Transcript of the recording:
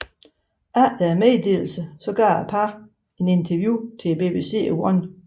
Efter meddelelsen gav parret et interview til BBC One